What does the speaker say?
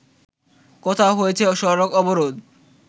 কোথাও হয়েছে সড়ক অবরোধ